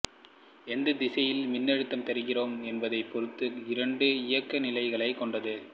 எந்த திசையில் மின்னழுத்தம் தருகிறோம் என்பதைப் பொறுத்து இரண்டு இயக்க நிலைகளைக் கொண்டது